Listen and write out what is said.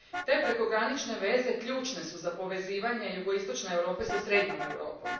Te prekogranične veze ključne su za povezivanje jugoistočne Europe sa srednjom Europom.